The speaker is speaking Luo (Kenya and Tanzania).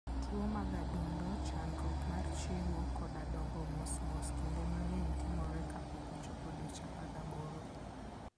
Tuwo mag adundo, chandruok mar chiemo, koda dongo mos mos, kinde mang'eny timore kapok ochopo dweche 18.